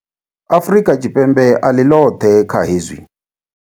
Afrika Tshipembe a ḽi ḽoṱhe kha hezwi.